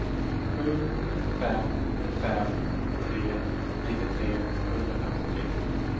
sju fem fem tre nittiotre sjuhundrafemtiotre